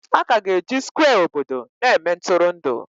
Aka ga-eji Skwe obodo na-eme Ntụrụndụ